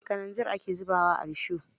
Kananzir ake zuba wa risho.